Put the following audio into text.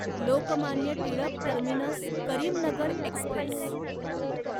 Lokmanya Tilak terminus Karimnagar Express